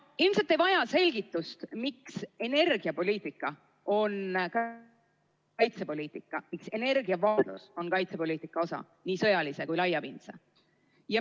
Ilmselt ei vaja selgitust, miks energiapoliitika on ka kaitsepoliitika, miks energiaiseseisvus on kaitsepoliitika osa, nii sõjalise kui laiapindse.